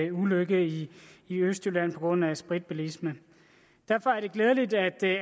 en ulykke i østjylland på grund af spritbilisme derfor er det glædeligt at